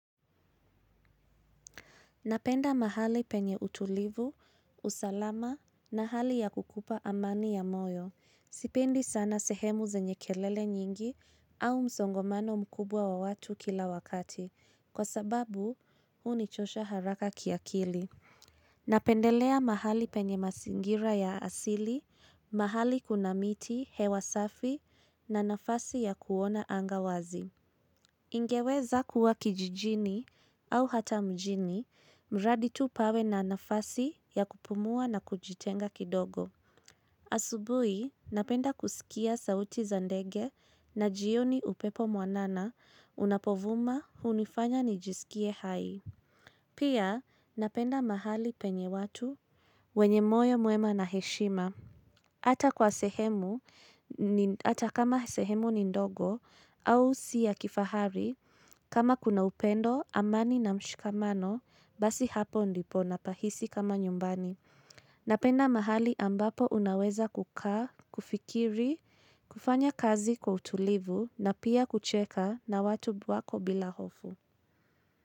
Napenda mahali penye utulivu, usalama na hali ya kukupa amani ya moyo. Sipendi sana sehemu zenye kelele nyingi au msongamano mkubwa wa watu kila wakati. Kwa sababu, hunichosha haraka kiakili. Napendelea mahali penye mazingira ya asili, mahali kuna miti, hewa safi na nafasi ya kuona anga wazi. Ningeweza kuwa kijijini au hata mjini, mradi tu pawe na nafasi ya kupumua na kujitenga kidogo. Asubuhi, napenda kusikia sauti za ndege na jioni upepo mwanana unapovuma hunifanya nijisikie hai. Pia, napenda mahali penye watu wenye moyo mwema na heshima. Ata kwa sehemu, ata kama sehemu ni ndogo au si ya kifahari, kama kuna upendo, amani na mshikamano, basi hapo ndipo napahisi kama nyumbani. Napenda mahali ambapo unaweza kukaa, kufikiri, kufanya kazi kwa utulivu na pia kucheka na watu wako bila hofu.